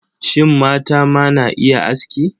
Shin, mata ma na iya aski?